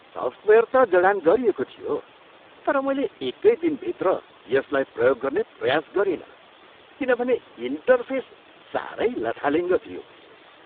Software त जडान गरिएको थियो तर मैले एकै दिनभित्र यसलाई प्रयोग गर्ने प्रयास गरिनँ किनभने इन्टरफेस सारै लथालिङ्ग थियो।